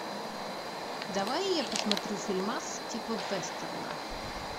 давай я посмотрю фильмас типа вестерна